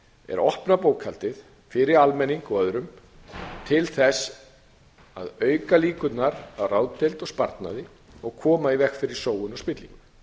að opna bókhaldið fyrir almenning og öðrum til að auka líkurnar á ráðdeild og sparnaði og koma í veg fyrir sóun og spillingu